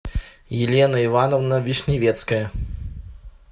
елена ивановна вишневецкая